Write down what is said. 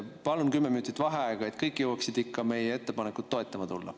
Palun kümme minutit vaheaega, et kõik jõuaksid ikka meie ettepanekut toetama tulla.